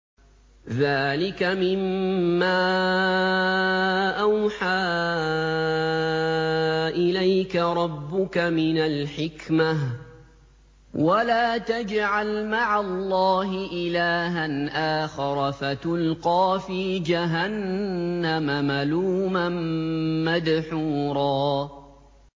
ذَٰلِكَ مِمَّا أَوْحَىٰ إِلَيْكَ رَبُّكَ مِنَ الْحِكْمَةِ ۗ وَلَا تَجْعَلْ مَعَ اللَّهِ إِلَٰهًا آخَرَ فَتُلْقَىٰ فِي جَهَنَّمَ مَلُومًا مَّدْحُورًا